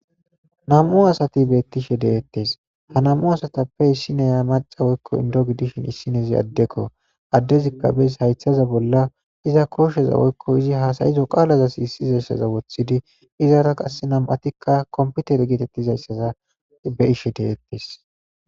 Nam'u asati betishe de'etes ha nam'u asatape issina mac'a woyko indo gidishin isinezi adeko adezika bes haytaza bola iza kosheza woyko izi hasa'izo qalaza sisizaysaza wotidi izara qasi nam'atika kompitere getetizaysaza be'ishe de'etes.